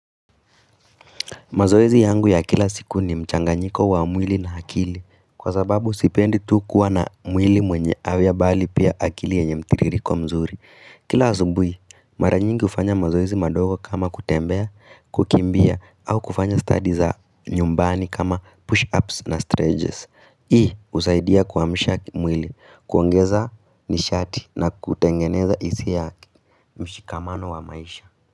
Mazoezi yangu ya kila siku ni mchanganyiko wa mwili na hakili kwa sababu sipendi tu kuwa na mwili mwenye awia bali pia hakili yenye mtiririko mzuri. Kila azubui mara nyingi ufanya mazoezi madogo kama kutembea, kukimbia au kufanya stadi za nyumbani kama push-ups na streges. Hii usaidia kuamsha mwili, kuongeza nishati na kutengeneza isia mshikamano wa maisha.